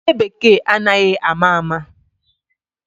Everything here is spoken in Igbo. Oke Bekee anaghi ama ama.